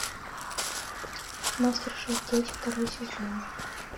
мастер шеф дети второй сезон